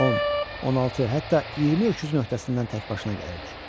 10, 16, hətta 20 öküzün öhdəsindən təkbaşına gəlirdi.